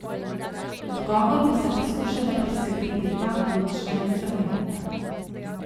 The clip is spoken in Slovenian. Odgovor bosta poskušala priskrbeti dva ključna instrumenta.